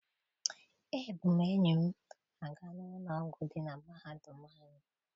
Ebu m enyi m aga n'ụlọ ọgwụ dị na mahadum anyị.